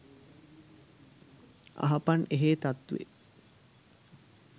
අහපන් එහේ තත්වේ